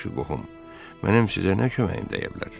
Yaxşı, qohum, mənə sizinə nə köməyim dəyə bilər?